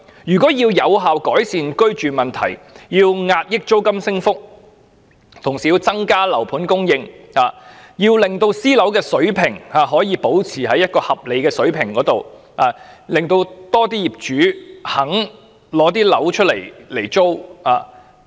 要有效改善居住問題，壓抑租金升幅，政府應同時增加單位供應，將私樓的租金維持在合理水平，並鼓勵更多業主出租單位。